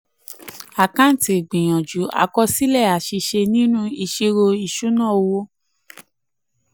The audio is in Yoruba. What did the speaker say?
eleven àkáǹtì ìgbìyànjú: àkọsílẹ̀ àṣìṣe nínú ìṣirò ìṣúná-owó.